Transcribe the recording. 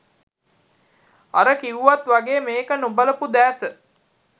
අර කිව්වත් වගේ මේක නොබලපු දෑස